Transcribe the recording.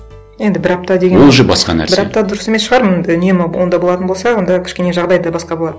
енді бір апта деген ол уже басқа нәрсе бір апта дұрыс емес шығар м үнемі онда болатын болса онда кішкене жағдай да басқа болады